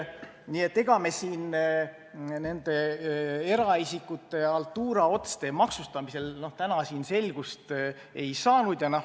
Nii et ega me siin eraisikute haltuuraotste maksustamise osas täna selgust ei saanud.